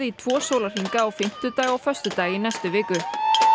í tvo sólarhringa á fimmtudag og föstudag í næstu viku